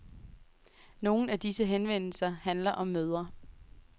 Nogle af disse henvendelser handler om mødre.